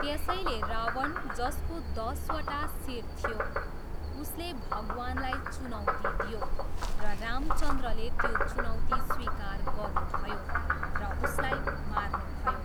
त्यसैले रावण, जसको दसवटा शिर थियो, उसले भगवानलाई चुनौती दियो र रामचन्द्रले त्यो चुनौती स्वीकार गर्नुभयो र उसलाई मार्नुभयो।